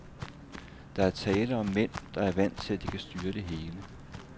Der er tale om mænd, der er vant til, at de kan styre det hele.